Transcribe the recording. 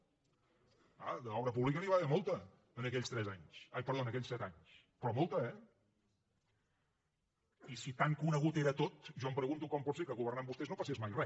ah d’obra pública n’hi va haver molta en aquells set anys però molta eh i si tan conegut era tot jo em pregunto com pot ser que governant vostès no passés mai re